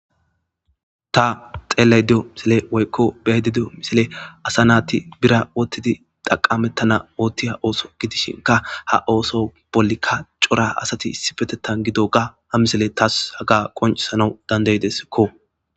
Ta xellayido de'iyo misiley woykon be'ayda de'iyo misiley ASA nayti birra othidi xaqametene othiya otho gidishinka ha oso bollika c'ora asati issi bolla issippetetha gidoga ha mileyi tawu qoncisana danda'ideskko.